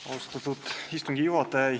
Austatud istungi juhataja!